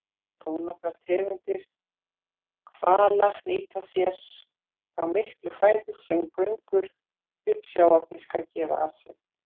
Þónokkrar tegundir hvala nýta sér þá miklu fæðu sem göngur uppsjávarfiska gefa af sér.